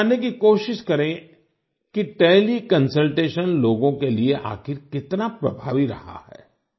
हम ये जानने की कोशिश करें कि टेलीकंसल्टेशन लोगों के लिए आखिर कितना प्रभावी रहा है